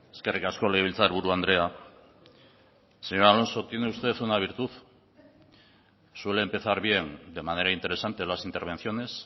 eskerrik asko legebiltzarburu andrea señor alonso tiene usted una virtud suele empezar bien de manera interesante las intervenciones